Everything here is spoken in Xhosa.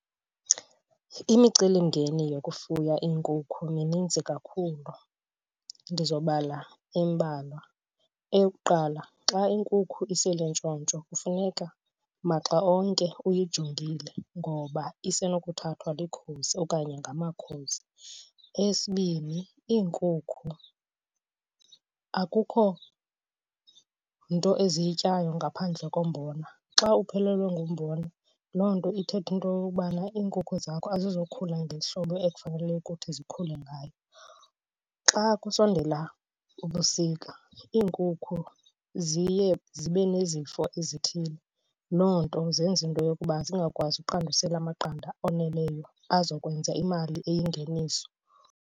Imicelimngeni yokufuya iinkukhu mininzi kakhulu, ndizobala embalwa. Eyokuqala xa iinkukhu iselintshontsho kufuneka maxa onke uyijongile ngoba isenothathwa likhozi okanye ngamakhozi. Eyesibini iinkukhu akukho nto eziyityayo ngaphandle kombono na. Xa uphelelwe ngumbona loo nto ithetha into yokubana iinkukhu zakho azizukhula ngehlobo ekufanele ukuthi zikhule ngayo. Xa kusondela ubusika, iinkukhu ziye zibe nezifo ezithile. Loo nto zenza into yokuba zingakwazi uqandusela amaqanda oneleyo azokwenza imali eyingeniso.